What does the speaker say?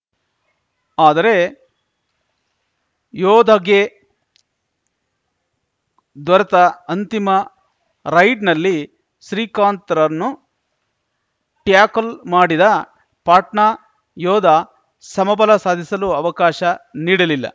ಆದರೆ ಯೋಧಾಗೆ ದೊರೆತ ಅಂತಿಮ ರೈಡ್‌ನಲ್ಲಿ ಶ್ರೀಕಾಂತ್‌ರನ್ನು ಟ್ಯಾಕಲ್‌ ಮಾಡಿದ ಪಾಟ್ನಾ ಯೋಧಾ ಸಮಬಲ ಸಾಧಿಸಲು ಅವಕಾಶ ನೀಡಲಿಲ್ಲ